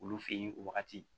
Olu fe ye o wagati